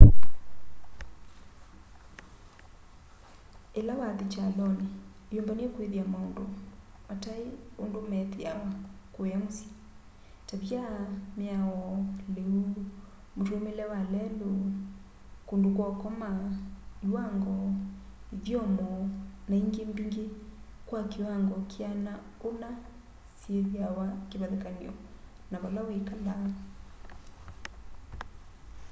ila wathi kyaloni iyumbanye kwithia maundu matai undu methiawa kũya mũsyĩ tavia mĩao lĩu mũtũumĩĩle wa lelũ kũndũ kwa ũkoma iwango ithyomo na ingĩ mbingĩ kwa kĩwango kĩana ũna syĩthĩwa kĩvathĩkany'o na vala wĩkalaa